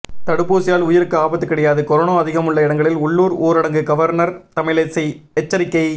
தடுப்பூசியால் உயிருக்கு ஆபத்து கிடையாது கொரோனா அதிகமுள்ள இடங்களில் உள்ளூர் ஊரடங்கு கவர்னர் தமிழிசை எச்சரிக்கை